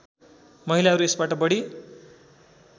महिलाहरू यसबाट बढी